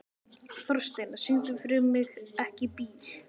Þórsteina, syngdu fyrir mig „Ekki bíl“.